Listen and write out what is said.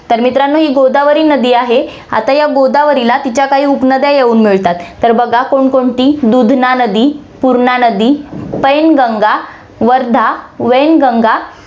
तर मित्रांनो, ही गोदावरी नदी आहे, आता या गोदावरीला तिच्या काही उपनद्या येऊन मिळतात, तर बघा कोण कोणती दुधना नदी, तुरणा नदी, पैनगंगा, वर्धा, वैनगंगा